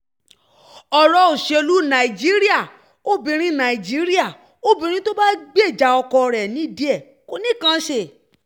ọ̀rọ̀ òṣèlú najiíríà obìnrin najiíríà obìnrin tó bá ń gbèjà ọkọ rẹ̀ nídìí ẹ̀ kò nìkan í ṣe